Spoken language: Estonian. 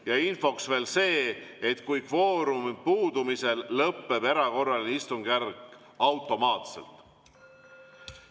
Ja infoks veel see: kvoorumi puudumisel lõpeb erakorraline istungjärk automaatselt.